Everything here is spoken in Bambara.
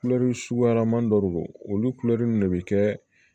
Kulɛri suguyaman dɔ de don olu kulodimi de be kɛ